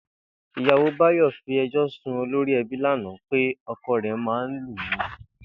Ìyàwó Báyò̩ fi e̩jó̩ sun olórí e̩bí lánàá pé o̩ko̩ rè̩ máa ń lù ú